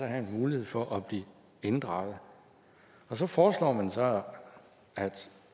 have en mulighed for at blive inddraget så foreslår man så at